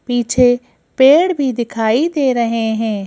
पीछे पेड़ भी दिखाई दे रहे हैं।